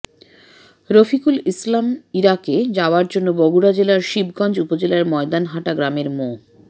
রফিকুল ইসলাম ইরাকে যাওয়ার জন্য বগুড়া জেলার শিবগঞ্জ উপজেলার ময়দানহাটা গ্রামের মো